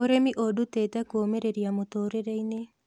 Ūrĩmi ũndutĩte kũũmĩrĩria mũtũrĩre-inĩ